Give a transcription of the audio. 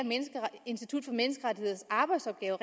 institut for menneskerettigheders arbejdsopgaver